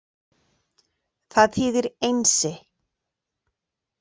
Það þýðir Einsi.